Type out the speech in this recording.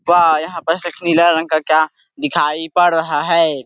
वाह यहाँ पर सिर्फ नीला रंग का क्या दिखाई पड़ रहा है।